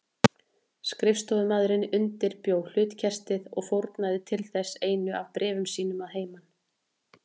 Skrifstofumaðurinn undirbjó hlutkestið og fórnaði til þess einu af bréfum sínum að heiman.